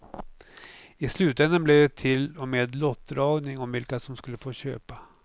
I slutändan blev det till och med lottdragning om vilka som skulle få köpa.